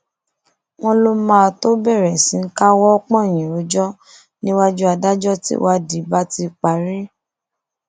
wọn lọ máa tóó bẹrẹ sí í káwọ pọnyìn rojọ níwájú adájọ tíwádìí bá ti parí